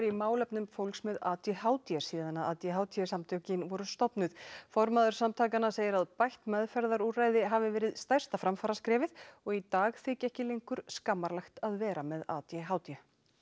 málefnum fólks með a d h d síðan a d h d samtökin voru stofnuð formaður samtakanna segir að bætt meðferðarúrræði hafi verið stærsta framfaraskrefið og í dag þyki ekki lengur skammarlegt að vera með a d h d